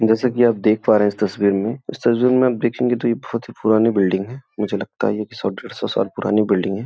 जैसा कि आप देख पा रहे हैं इस तस्वीर में। इस तस्वीर में आप देखेंगे तो ये बहोत पुरानी बिल्डिंग है। मुझे लगता है ये कि सौ-डेढ़ सौ साल पुरानी बिल्डिंग है।